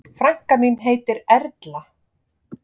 Frænka mín heitir Erla.